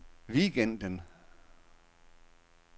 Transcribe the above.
weekenden